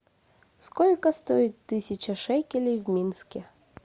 сколько стоит тысяча шекелей в минске